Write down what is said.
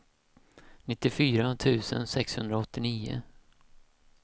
nittiofyra tusen sexhundraåttionio